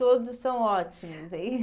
Todos são ótimos, hein?